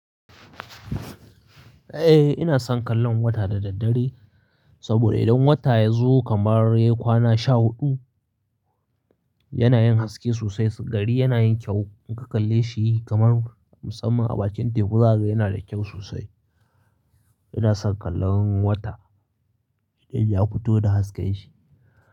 Eh ina son kallon wata da daddare, saboda idan wata ya zo kamar ya kwana sha huɗu, yana yin haske sosai, gari yana yin kyau. In ka kalleshi kamar musamman a bakin teku zakaga yana da kyau sosai. Ina son kallon wata, idan ya fito da hasken shi,